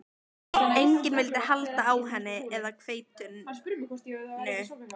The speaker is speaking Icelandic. Enginn vildi halda á henni eða hveitinu.